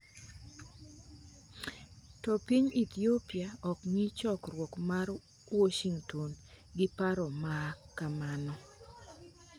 To piny Ethiopia okng'i chokruok mar Washington gi paro ma kamano.